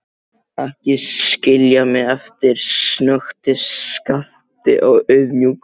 Ekki skilja mig eftir, snökti Skapti auðmjúkur.